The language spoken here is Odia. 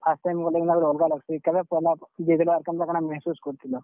First time ଗଲେ ଜେନ୍ତା ଗୁଟେ ଅଲ୍ ଗା ଲାଗ୍ ସି, କେଭେ ପହେଲା, ଆଉ କେନ୍ତା କାଣା मेहसूस କରିଥିଲ?